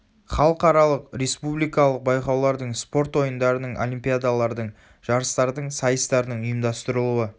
халықаралық республикалық байқаулардың спорт ойындарының олимпиадалардың жарыстардың сайыстардың ұйымдастырылуы